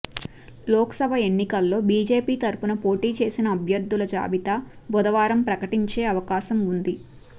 లోక్సభ ఎన్నికల్లో బీజేపీ తరఫున పోటీ చేసే అభ్యర్థుల జాబితా బుధవారం ప్రకటించే అవకాశం ఉంది